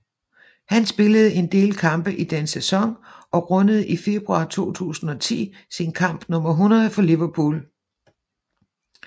Han spillede en del kampe i den sæson og rundede i februar 2010 sin kamp nummer 100 for Liverpool